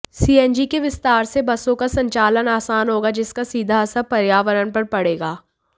CNG के विस्तार से बसों का संचालन आसान होगा जिसका सीधा असर पर्यावरण पर पड़ेगा